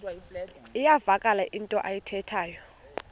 iyavakala into ayithethayo